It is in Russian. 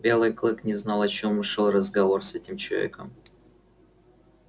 белый клык не знал о чём шёл разговор с этим человеком